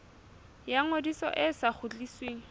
ya ngodiso e sa kgutlisweng